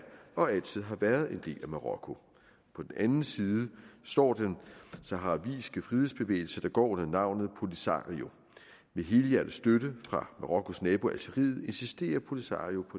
og altid har været en del af marokko på den anden side står den saharawiske frihedsbevægelse der går under navnet polisario med helhjertet støtte fra marokkos nabo algeriet insisterer polisario